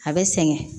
A bɛ sɛgɛn